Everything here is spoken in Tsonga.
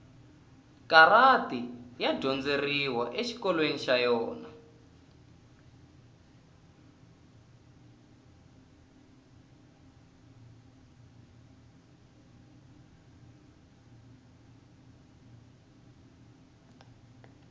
karati ya dyondzeriwa exikolweni xa yona